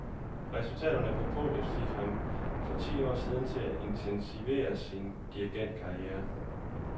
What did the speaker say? Resultaterne på podiet fik ham i for ti år siden til at intensivere sin dirigentkarriere.